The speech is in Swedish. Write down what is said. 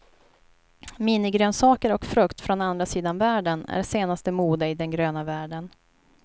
Minigrönsaker och frukt från andra sidan världen är senaste mode i den gröna världen.